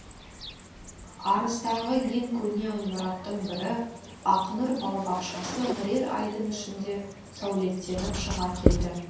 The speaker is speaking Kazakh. арыстағы ең көне ғимараттың бірі ақнұр балабақшасы бірер айдың ішінде сәулеттеніп шыға келді